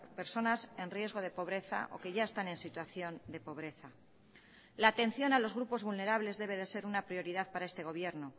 personas en riesgo de pobreza o que ya están en situación de pobreza la atención a los grupos vulnerables debe de ser una prioridad para este gobierno